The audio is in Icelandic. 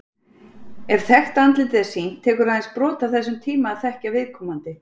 Ef þekkt andlit er sýnt, tekur aðeins brot af þessum tíma að þekkja viðkomandi.